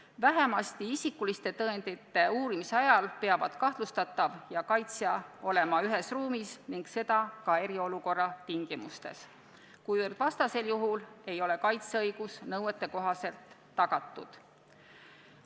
Ent vähemalt isikuliste tõendite uurimise ajal peavad kahtlustatav ja kaitsja olema ühes ruumis ning seda ka eriolukorra tingimustes, vastasel juhul ei ole kaitseõigus nõuetekohaselt tagatud.